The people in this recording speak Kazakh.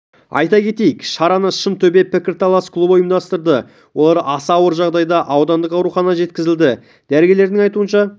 айта кетейік шараны шынтөбе пікірталас клубы ұйымдастырды олар аса ауыр жағдайда аудандық ауруханаға жеткізілді дәрігерлердің айтуынша